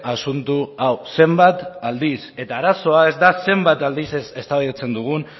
asunto hau zenbat aldiz eta arazoa ez da zenbat aldiz eztabaidatzen dugun